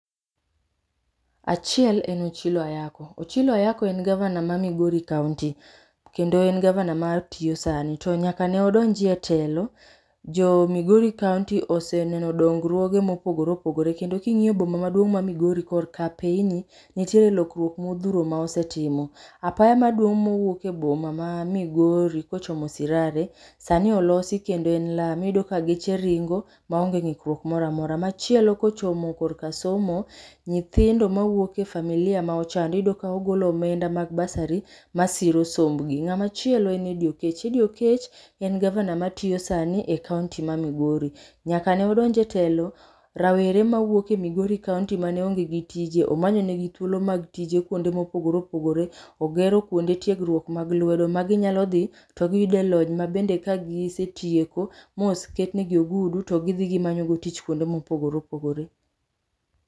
Achiel en Ochilo Ayacko. Ochilo Ayacko en gavana ma Migori kaunti, kendo en gavana matiyo sani. To nyaka ne odonjie telo, jo Migori kaunti oseneno dongruoge mopogore opogore kendo king'iyo boma maduong' ma Migori korka apeyni, nitiere lokruok modhuro ma osetimo. Apaya maduong' mowuok e boma ma Migori kochomo Sirare, sani olosi kendo en lam. Iyudo ka geche ringo, ma onge ng'ikruok moramora. Machielo kochomo korka somo, nyithindo mawuok e familia ma ochando iyudo ka ogolo omenda mag bursary, ma siro sombgi. Ng'ama chielo en Eddy Oketch. Eddy Oketch, en gavana matiyo sani e kaunti ma Migori. Nyaka ne odonj e telo, rawere mawuok e Migori Kaunti mane onge gi tije omanyo negi thuolo mag tije kwonde mopogore opogore, ogero kwonde tiegruok mag lwedo ma ginyalo dhii, to giyude lony mabende ka gisetieko mos ketnegi ogudu, to gidhi gimanyo godo tich kwonde mopogre opogore